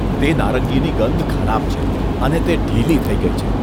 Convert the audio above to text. તે નારંગીની ગંધ ખરાબ છે અને તે ઢીલી થઈ ગયાં છે.